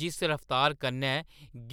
जिस रफ्तार कन्नै